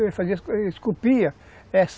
Ele fazia, ele esculpia, essa